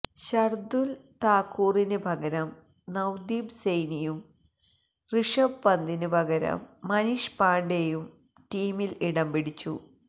ശാര്ദ്ധുല് താക്കൂറിന് പകരം നവ്ദീപ് സെയ്നിയും റിഷഭ് പന്തിന് പകരം മനീഷ് പാണെഡയും ടീമില് ഇടംപിടിച്ചു